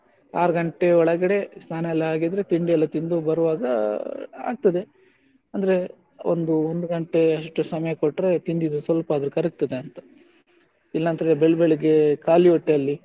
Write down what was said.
ಆರು ಗಂಟೆ ಒಳಗಡೆ ಸ್ನಾನ ಎಲ್ಲ ಆಗಿದ್ರೆ ತಿಂಡಿ ಎಲ್ಲ ತಿಂದು ಬರುವಾಗ ಆಗ್ತದೆ ಅಂದ್ರೆ ಒಂದು ಒಂದು ಗಂಟೆ ಅಷ್ಟು ಸಮಯ ಕೊಟ್ರೆ ತಿಂದಿದ್ದು ಸ್ವಲ್ಪಾದ್ರು ಕರಗ್ತದೆ ಅಂತ ಇಲ್ಲದಿದ್ರೆ ಬೆಳಿಗ್ಗೆ ಬೆಳಿಗ್ಗೆ ಖಾಲಿ ಹೊಟ್ಟೆಯಲ್ಲಿ,